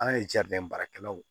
An ye baarakɛlaw